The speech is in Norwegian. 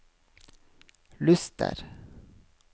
Luster